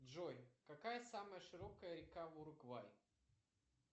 джой какая самая широкая река уругвай